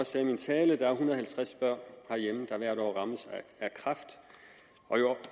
sagde i min tale hvert år er og halvtreds børn herhjemme der rammes af kræft